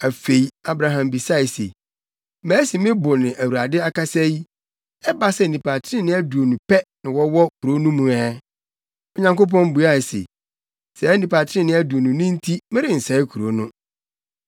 Afei, Abraham bisae se, “Masi me bo ne Awurade akasa yi, ɛba sɛ nnipa trenee aduonu pɛ na wɔwɔ kurow no mu ɛ?” Onyankopɔn buae se, “Saa nnipa trenee aduonu no nti, merensɛe kurow no.”